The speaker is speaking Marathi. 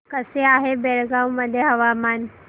कसे आहे बेळगाव मध्ये हवामान